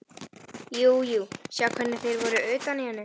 Jú jú, sjá hvernig þeir voru utan í henni.